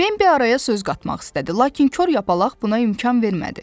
Bembi araya söz qatmaq istədi, lakin Kor yapalaq buna imkan vermədi.